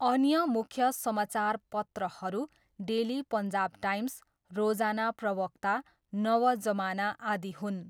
अन्य मुख्य समाचारपत्रहरू डेली पन्जाब टाइम्स, रोजाना प्रवक्ता, नव जमाना आदि हुन्।